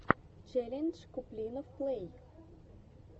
челлендж куплинов плэй